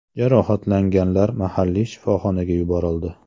Jarohatlanganlar mahalliy shifoxonaga yuborildi.